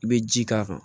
I bɛ ji k'a kan